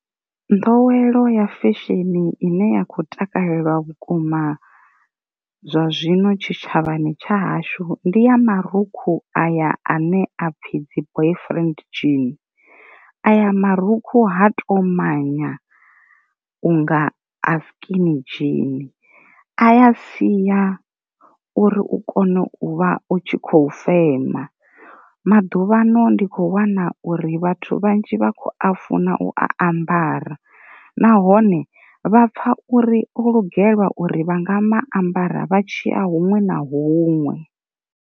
Nḓowelo ya fesheni ine ya kho takalelwa vhukuma zwa zwino tshitshavhani tsha hashu ndi ya marukhu aya ane a pfi dzi boyfriend jean. Aya marukhu ha tomanya unga a skini dzhini, a ya siya uri u kone u vha u tshi khou fema, maḓuvhano ndi khou wana u ri vhathu vhanzhi vha kho a funa u ambara nahone vhapfa uri o lugelwa uri vha nga ambara vha tshiya huṅwe na huṅwe.